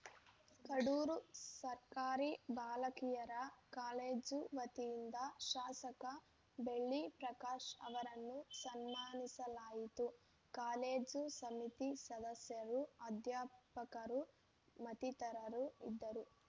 ಕಡೂರು ಸರ್ಕಾರಿ ಬಾಲಕಿಯರ ಕಾಲೇಜು ವತಿಯಿಂದ ಶಾಸಕ ಬೆಳ್ಳಿ ಪ್ರಕಾಶ್‌ ಅವರನ್ನು ಸನ್ಮಾನಿಸಲಾಯಿತು ಕಾಲೇಜು ಸಮಿತಿ ಸದಸ್ಯರು ಅಧ್ಯಾಪಕರು ಮತ್ತಿತರರು ಇದ್ದರು